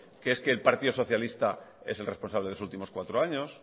que es que el partido socialista es el responsable los últimos cuatro años